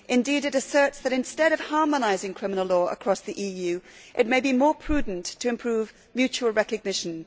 Indeed, it asserts that, instead of harmonising criminal law across the EU, it may be more prudent to improve mutual recognition.